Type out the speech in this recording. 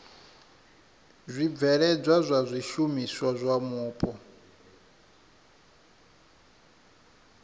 zwibveledzwa zwa zwishumiswa zwa mupo